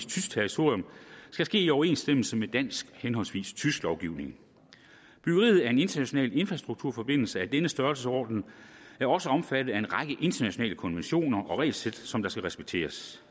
tysk territorium skal ske i overensstemmelse med dansk henholdsvis tysk lovgivning byggeri af en international infrastrukturforbindelse af denne størrelsesorden er også omfattet af en række internationale konventioner og regelsæt som skal respekteres